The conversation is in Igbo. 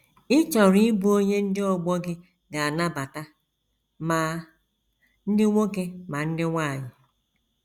Ị chọrọ ịbụ onye ndị ọgbọ gị ga - anabata, ma ndị nwoke ma ndị nwanyị. ”